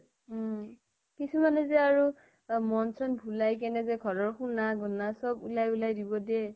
উম । কিছুমানে যে, আৰু মন চন ভোলাই কেনে যে ঘৰ ৰ সোণা গোণা চব উলাই উলাই দিব দিয়ে ।